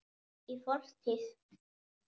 Í fortíð!